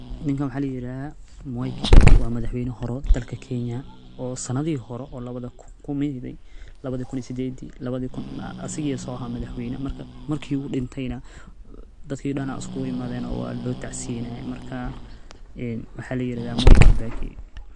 Ninkan waxaa la yirahda mwai kibaki waa madaxweynihi hore ee dalka Kenya oo sanadihi hore oo laba kumyihi labada kun iyo sideedi asaga soo aha madaxweyna marki uu dhintay na dadki dhan aya iskugu imadeen oo waa loo tacsiyeynaye marka waxaa la yiraahdaa mwai kibaki